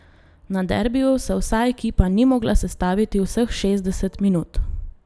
Na derbiju se vsa ekipa ni mogla sestaviti vseh šestdeset minut.